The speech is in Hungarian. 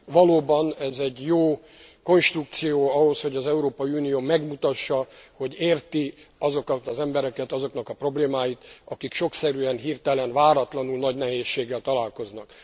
Valóban, ez egy jó konstrukció ahhoz, hogy az Európai Unió megmutassa, hogy érti azokat az embereket, azoknak a problémáit, akik sokkszerűen, hirtelen, váratlanul nagy nehézséggel találkoznak.